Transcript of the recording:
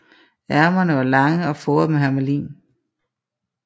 Ærmerne var lange og foret med hermelin